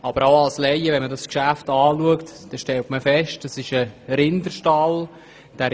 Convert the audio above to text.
Aber auch wenn man dieses Geschäft als Laie anschaut, stellt man fest, dass es um einen Rinderstall geht.